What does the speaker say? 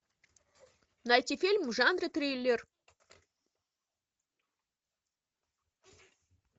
найти фильм в жанре триллер